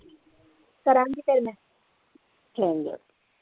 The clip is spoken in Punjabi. ਕਰਾਂਗੀ ਫੇਰ ਮੈਂ ਚੰਗਾ।